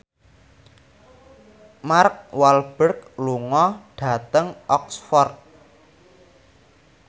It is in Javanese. Mark Walberg lunga dhateng Oxford